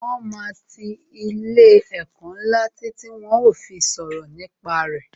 Wọn máa ti ilé ẹ̀kọ́ ńlá títí tí wón ó fi sọ̀rọ̀ nípa re